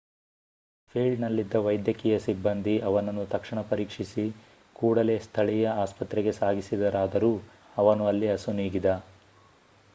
ಫೀಲ್ಡ್‌ನಲ್ಲಿದ್ದ ವೈದ್ಯಕೀಯ ಸಿಬ್ಬಂದಿ ಅವನನ್ನು ತಕ್ಷಣ ಪರೀಕ್ಷಿಸಿ ಕೂಡಲೇ ಸ್ಥಳೀಯ ಆಸ್ಪತ್ರೆಗೆ ಸಾಗಿಸಿದರಾದರೂ ಅವನು ಅಲ್ಲಿ ಅಸುನೀಗಿದ